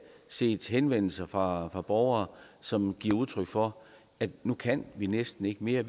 set henvendelser fra borgere som giver udtryk for at nu kan de næsten ikke mere